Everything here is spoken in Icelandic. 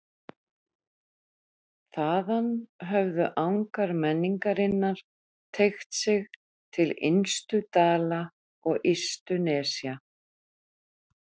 Þaðan höfðu angar menningarinnar teygt sig til innstu dala og ystu nesja.